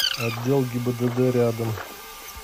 отдел гибдд рядом